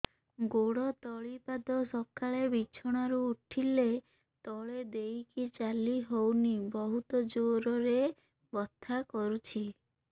ଗୋଡ ତଳି ପାଦ ସକାଳେ ବିଛଣା ରୁ ଉଠିଲେ ତଳେ ଦେଇକି ଚାଲିହଉନି ବହୁତ ଜୋର ରେ ବଥା କରୁଛି